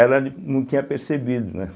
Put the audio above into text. Ela não tinha percebido, né?